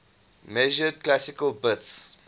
measured classical bits